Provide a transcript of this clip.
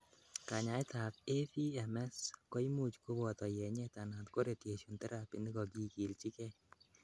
kanyaet ab AVMs koimuch koboto yenyet anan ko radiation therapy nekokigiljigei